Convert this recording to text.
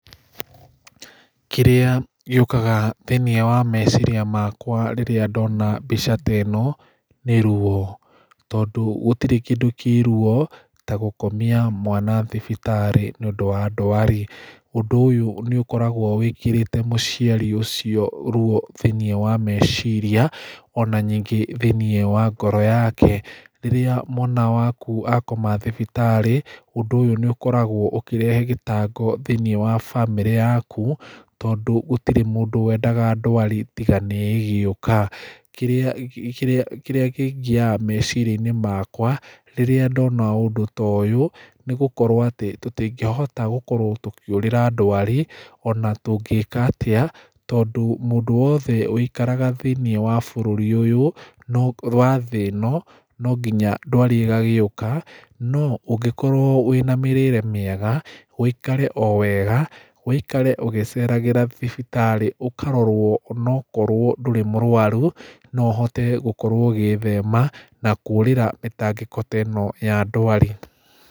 Kĩrĩa gĩũkaga thĩiniĩ wa meciria makwa rĩrĩa ndona mbica ta ĩno, nĩ ruo tondũ gũtirĩ kĩndũ kĩ ruo ta gũkomia mwana thibitarĩ nĩũndũ wa ndwari ũndũ ũyũ nĩũkoragwo wĩkĩrĩte mũciari ũcio ruo thĩiniĩ wa meciria ona ningĩ thĩiniĩ wa ngoro yake, rĩrĩa mwana waku akoma thibitarĩ ũndũ nĩũkoragwo ũkĩrehe gĩtango thĩiniĩ wa bamĩrĩ yaku, tondũ gũtirĩ mũndũ wendaga ndwari tiga nĩ ĩgĩũka, kĩrĩa kĩngiaga meciria-inĩ makwa, rĩrĩa ndona ũndũ toyũ nĩgũkorwo atĩ tũtingĩhota gũkorwo tũkĩũrĩra ndwari ona tũngĩĩka atĩa, tondũ mũndũ wothe wũikaraga thĩiniĩ wa bũrũri ũyũ wa thĩ ĩno, no nginya ndwari ĩgagĩũka, no ũngĩkorwo wĩna mĩrĩre mĩega, wũikare wega, ũikare ũgĩceragíĩra thibitarĩ ũkarorwo onokorwo ndũrĩ mũrwaru noũkorwo ũgĩthema na kũũrĩra mĩtangĩko teno ya ndwari.